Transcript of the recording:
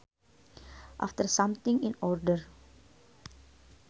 After something in order